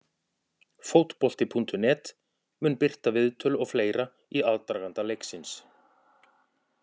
Fótbolti.net mun birta viðtöl og fleira í aðdraganda leiksins.